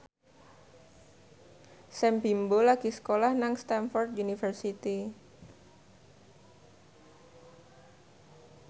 Sam Bimbo lagi sekolah nang Stamford University